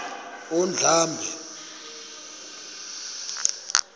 undlambe